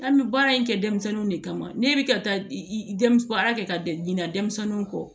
An bɛ baara in kɛ denmisɛnninw de kama ne bɛ ka taa i dɛmɛn baara kɛ ka dɛɲa denmisɛnninw kɔ